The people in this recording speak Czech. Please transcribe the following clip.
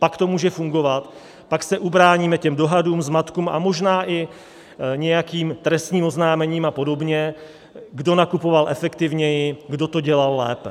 Pak to může fungovat, pak se ubráníme těm dohadům, zmatkům a možná i nějakým trestním oznámením a podobně, kdo nakupoval efektivněji, kdo to dělal lépe.